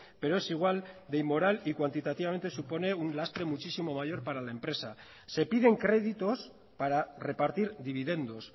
pero es igual de inmoral y cuantitativamente supone un lastre muchísimo mayor para la empresa se piden créditos para repartir dividendos